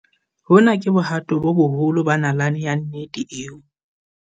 "Hona ke bohato bo boholo ba nalane ya nnete eo"